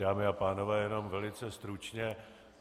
Dámy a pánové, jenom velice stručně.